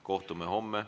Kohtume homme ...